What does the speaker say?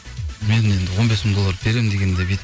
мен енді он бес мың долларды берем дегенде бүйтіп